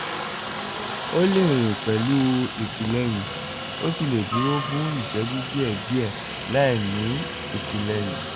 ó lè rìn pẹ̀lú ìtìlẹyìn ó sì lè dúró fún ìṣẹ́jú díẹ̀ díẹ̀ láìní ìtìlẹyìn